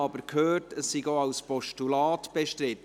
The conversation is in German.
Ich habe aber gehört, es sei auch als Postulat bestritten.